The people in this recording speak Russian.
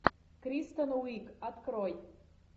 кристен уиг открой